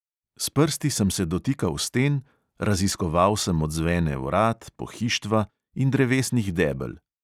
S prsti sem se dotikal sten, raziskoval sem odzvene vrat, pohištva in drevesnih debel.